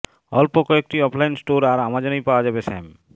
অল্প কয়েকটি offline store আর অ্যামাজনেই পাওয়া যাবে স্যাম